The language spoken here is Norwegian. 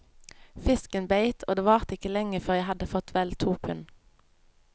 Fisken beit, og det varte ikke lenge før jeg hadde fått vel to pund.